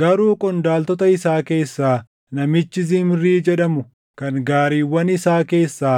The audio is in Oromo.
Garuu qondaaltota isaa keessaa namichi Zimrii jedhamu kan gaariiwwan isaa keessaa